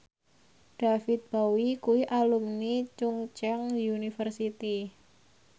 David Bowie kuwi alumni Chungceong University